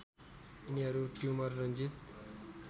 यिनीहरू ट्युमर रन्जित